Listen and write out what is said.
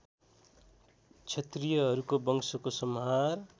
क्षत्रियहरूको वंशको संहार